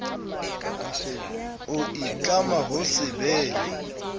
o itlama ho se behe